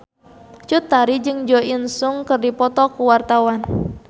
Cut Tari jeung Jo In Sung keur dipoto ku wartawan